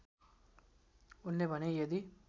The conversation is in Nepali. उनले भने यदि